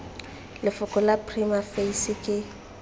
lefoko la prima facie ke